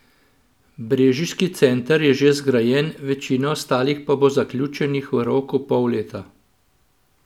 Brežiški center je že zgrajen, večina ostalih pa bo zaključenih v roku pol leta.